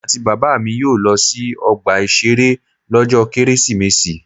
Èmi àti Bàbá mi yóò lọ sí ọgbà ìṣeré lọ́jọ́ Kérésìmesì.